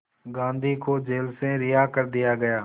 गांधी को जेल से रिहा कर दिया गया